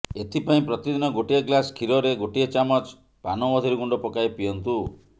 ଏଥିପାଇଁ ପ୍ରତିଦିନ ଗୋଟିଏ ଗ୍ଲାସ୍ କ୍ଷୀରରେ ଗୋଟିଏ ଚାମଚ ପାନମଧୁରୀ ଗୁଣ୍ଡ ପକାଇ ପିଅନ୍ତୁ